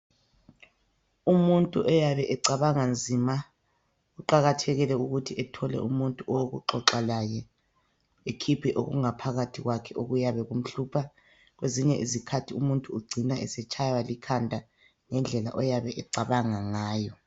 Umuntu oyabe ecabanga nzima kuqakathekile ukuthi ethole umuntu owokuxoxa laye ekhiphe okungaphakathi kwakhe okuyabe kumhlupha. Kwezinye izikhathi umuntu ucina etshaywa likhanda ngendlela oyabe ecabanga ngayo.